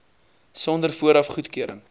sonder vooraf goedkeuring